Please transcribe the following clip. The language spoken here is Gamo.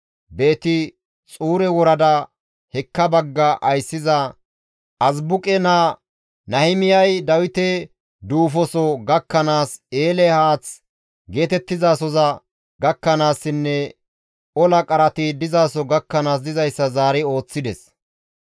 Beeti-Xuure worada hekka bagga ayssiza Azibuqe naa Nahimiyay Dawite duufoso gakkanaas, eele haath geetettizasoza gakkanaassinne ola qarati dizaso gakkanaas dizayssa zaari ooththides.